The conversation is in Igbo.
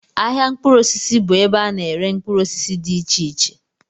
Ahịa mkpụrụ osisi bụ ebe a na-ere mkpụrụ osisi dị iche iche